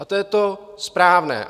A to je to správné.